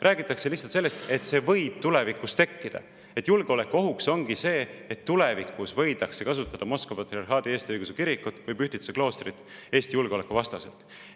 Räägitakse lihtsalt sellest, et see võib tulevikus tekkida, et julgeolekuohuks ongi see, et tulevikus võidakse kasutada Moskva Patriarhaadi Eesti Õigeusu Kirikut või Pühtitsa kloostrit Eesti julgeoleku vastaselt.